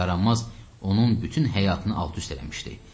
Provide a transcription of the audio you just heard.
Bu yaranmaz onun bütün həyatını alt-üst eləmişdi.